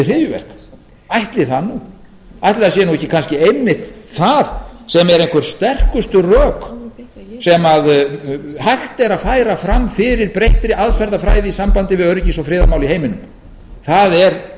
hryðjuverk ætli það nú ætli það sé nú ekki kannski einmitt það sem eru einhver sterkustu rök sem hægt er að færa fram færa breyttri aðferðafræði í sambandi við öryggis og friðarmál í heiminum það er